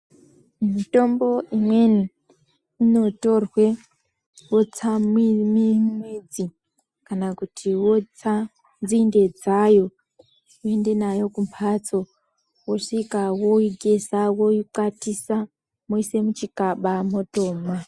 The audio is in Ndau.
Mitombo imweni inotorwe wotsa midzi kana kuti wotsa nzinde dzayo woenda nayo kumhatso. Wosvika woigeza woikwatisa moise muchikaba motomwa.